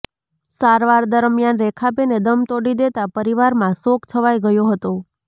સારવાર દરમિયાન રેખાબેને દમ તોડી દેતાં પરિવારમાં શોક છવાઇ ગયો હતો